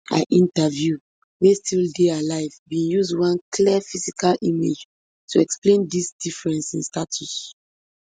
i interview wey still dey alive bin use one clear physical image to explain dis difference in status